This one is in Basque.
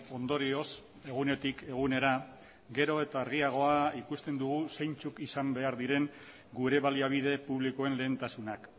ondorioz egunetik egunera gero eta argiagoa ikusten dugu zeintzuk izan behar diren gure baliabide publikoen lehentasunak